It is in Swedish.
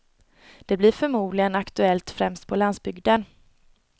Det blir förmodligen aktuellt främst på landsbygden.